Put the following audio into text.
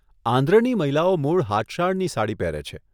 આંધ્રની મહિલાઓ મૂળ હાથશાળની સાડી પહેરે છે.